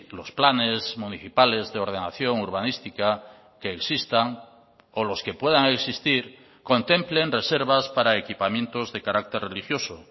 los planes municipales de ordenación urbanística que existan o los que puedan existir contemplen reservas para equipamientos de carácter religioso